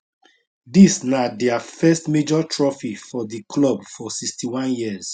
dis na dia first major trophy for di club for 61 years